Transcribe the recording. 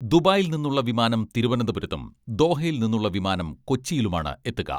ദുബായിയിൽ നിന്നുള്ള വിമാനം തിരുവനന്തപുരത്തും ദോഹയിൽ നിന്നുള്ള വിമാനം കൊച്ചിയിലുമാണ് എത്തുക.